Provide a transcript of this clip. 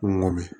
Ko n go bi